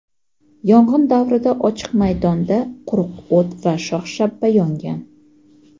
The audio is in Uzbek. Yong‘in davrida ochiq maydonda quruq o‘t va shox-shabba yongan.